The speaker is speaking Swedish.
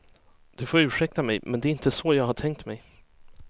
Du får ursäkta mig, men det är inte så jag har tänkt mig.